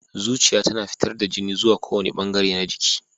Zuciya tana fitar da jini zuwa kowane bangare na jiki.